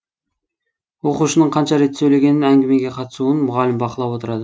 оқушының қанша рет сөйлегенін әңгімеге қатысуын мұғалім бақылап отырады